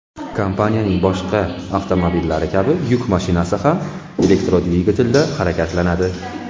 Kompaniyaning boshqa avtomobillari kabi yuk mashinasi ham elektrodvigatelda harakatlanadi.